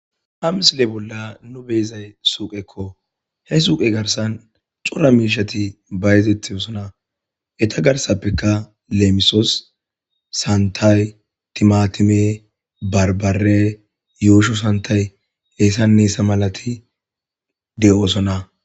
ha misile bolla nu beyzay suuqekko he suuqe garsan cora miishati bayzetisona eta garsappeka leemisos santay timatime barbare yuusho santay hesane hesa malati de'oosona